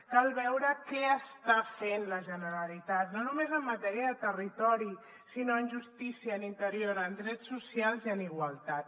cal veure què està fent la generalitat no només en matèria de territori sinó en justícia en interior en drets socials i en igualtat